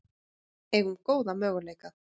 Eigum góða möguleika